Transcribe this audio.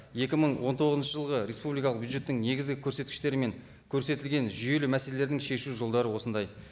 екі мың он тоғызыншы жылғы республикалық бюджеттің негізгі көрсеткіштері мен көрсетілген жүйелі мәселелердің шешу жолдары осындай